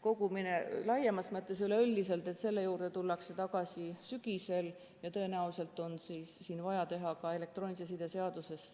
kogumine laiemas mõttes –, tullakse tagasi sügisel ja tõenäoliselt on vaja teha muudatused ka elektroonilise side seaduses.